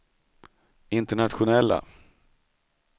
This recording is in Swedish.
internationella